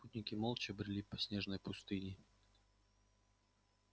путники молча брели по снежной пустыне